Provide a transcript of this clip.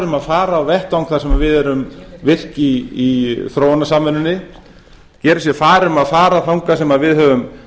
um að fara á vettvang þar sem við erum virk í þróunarsamvinnunni geri sér far um að fara þangað sem við höfum